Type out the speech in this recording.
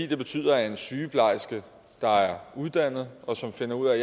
det betyder at en sygeplejerske der er uddannet og som finder ud af at